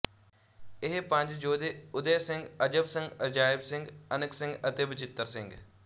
ਇਹ ਪੰਜ ਯੋਧੇ ਉਦਯ ਸਿੰਘ ਅਜਬ ਸਿੰਘ ਅਜਾਇਬ ਸਿੰਘ ਅਨਕ ਸਿੰਘ ਅਤੇ ਬਚਿੱਤਰ ਸਿੰਘ